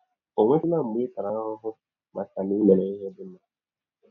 Ọ̀ nwetụla mgbe ị tara ahụhụ maka na i mere ihe dị mma?